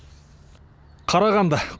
қарағанды